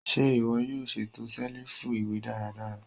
Ṣe iwọ yoo ṣeto selifu iwe daradara?